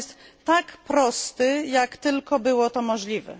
Jest on tak prosty, jak tylko było to możliwe.